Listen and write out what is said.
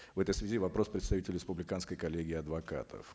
в этой связи вопрос представителю республиканской коллегии адвокатов